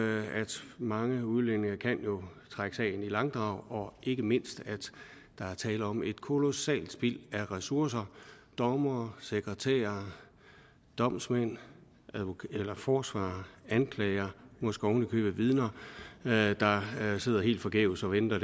mange udlændinge jo kan trække sagen i langdrag og ikke mindst at der er tale om et kolossalt spild af ressourcer dommere sekretærer domsmænd forsvarer anklager måske oven i købet vidner der sidder helt forgæves og venter